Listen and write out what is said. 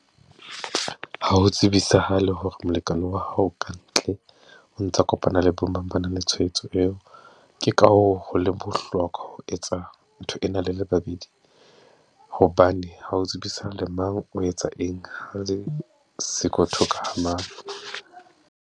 Ha ho tsebisahale hore molekane wa hao ka ntle o ntsa kopana le bo mang ba nang le tshwaetso eo. Ke ka hoo ho leng bohlokwa ho etsa ntho ena le le babedi, hobane ho o tsebisa le mang o etsa eng, ha le siko thoka ha mang.